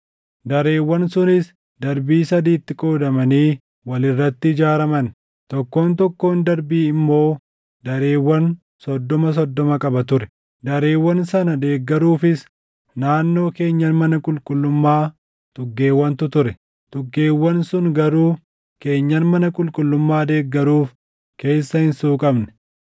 Dareewwan sunis darbii sadiitti qoodamanii wal irratti ijaaraman; tokkoon tokkoon darbii immoo dareewwan soddoma soddoma qaba ture. Dareewwan sana deeggaruufis naannoo keenyan mana qulqullummaa tuggeewwantu ture; tuggeewwan sun garuu keenyan mana qulqullummaa deeggaruuf keessa hin suuqamne.